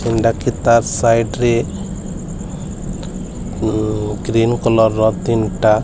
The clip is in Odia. ତାର୍ ସାଇଟ୍ ରେ ଉ ଗ୍ରୀନ କଲର ର ତିନିଟା --